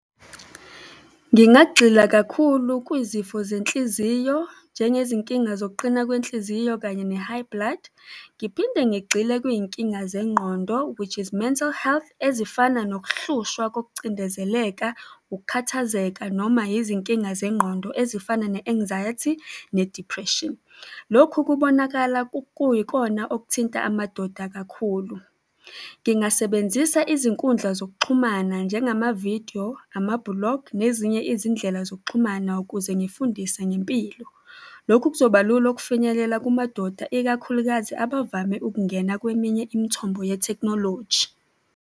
Ngingagxila kakhulu kwizifo zenhliziyo njengezinkinga zokuqina kwenhliziyo kanye ne-high blood. Ngiphinde ngigxile kuyinkinga zengqondo, which is mental health, ezifana nokuhlushwa kokucindezeleka, ukukhathazeka noma izinkinga zengqondo ezifana ne-anxiety-i, ne-depression. Lokhu kubonakala kuyikona okuthinta amadoda kakhulu. Ngingasebenzisa izinkundla zokuxhumana njengamavidiyo, amabhulogi nezinye izindlela zokuxhumana ukuze ngifundise ngempilo. Lokhu kuzoba lula ukufinyelela kumadoda, ikakhulukazi abavame ukungena kweminye imithombo yethekhnoloji.